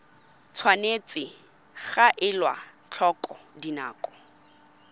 tshwanetse ga elwa tlhoko dinako